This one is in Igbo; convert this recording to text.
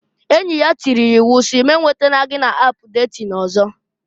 Enyi ya tiiri ya iwu si! "Mu e nwetatala gị na ap detin ọzọ!"